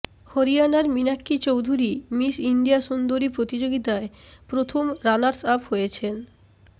হরিয়ানার Meenakshi Chaudhary Miss India সুন্দরী প্রতিযোগিতায় প্রথম রানার্স আপ হয়েছেন